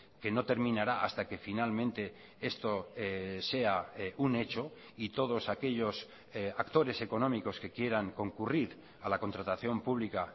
que no terminará hasta que finalmente esto sea un hecho y todos aquellos actores económicos que quieran concurrir a la contratación pública